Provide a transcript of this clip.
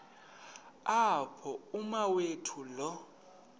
apho umawethu lo